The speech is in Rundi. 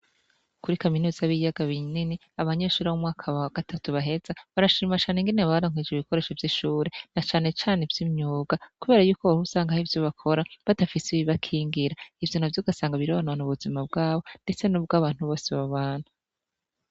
Kuri kaminuza yi biyaga binini, abanyeshure bo mumwaka wagatatu baheza barashima ingene baronkejwe ibikoresho vyishure na cane cane ivy'imyuga kubera Yuko hari ivyo usanga bakora badafise ibibakingira ivyo navyo ugasanga bironona ubuzima bwabo ndetse nubwantu bose babana.